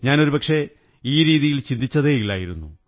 ഞാൻ ഒരുപക്ഷേ ഈ രീതിയിൽ ചിന്തിച്ചതേ ഇല്ലായിരുന്നു